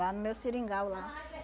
Lá no meu seringal lá.